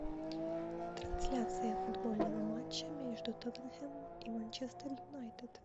трансляция футбольного матча между тоттенхэмом и манчестер юнайтед